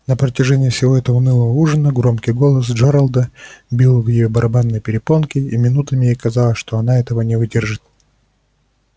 на протяжении всего этого унылого ужина громкий голос джералда бил в её барабанные перепонки и минутами ей казалось что она этого не выдержит